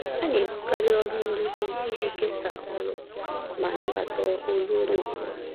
Ha na-ebugharị ọrụ nduzi iji kesaa ọrụ ma nabata olu onye ọ bụla